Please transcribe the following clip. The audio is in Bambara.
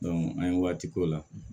an ye waati k'o la